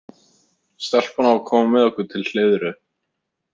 Stelpan á að koma með okkur til Hleiðru.